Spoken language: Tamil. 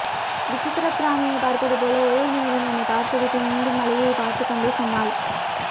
விசித்திர பிராணியை பார்ப்பதுபோல ஒரே நிமிடம் என்னை பார்த்துவிட்டு மீண்டும் மழையை பார்த்துக்கொண்டே சொன்னாள்